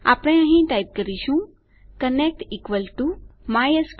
આપણે અહીં ટાઈપ કરીશું કનેક્ટ mysql connect